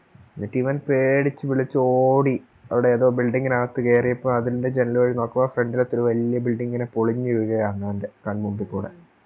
knit ഞാൻ പേടിച്ച് വിളിച്ചോടി അവിടെ ഏതോ Building നകത്ത് കയറിയപ്പോ അതിൻറെ ജനല് വഴി നോക്കുമ്പോ Front ലത്തെ ഒര് വലിയ Building ഇങ്ങനെ പൊളിഞ്ഞ് വീഴ് ആരുന്നു എൻറെ കൺ മുമ്പിക്കൂടെ